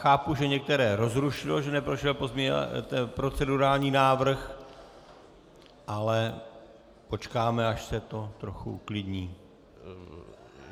Chápu, že některé rozrušilo, že neprošel procedurální návrh, ale počkáme, až se to trochu uklidní.